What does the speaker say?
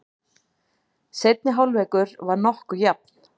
Seinni hálfleikur var nokkuð jafn.